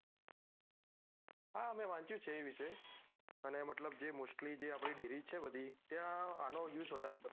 હા મેં વાંચ્યું છે એ વિશે અને મતલબ જે mostly જે જે આપડી dairy છે બધી ત્યાં અનો use વધારે થતો હોય છે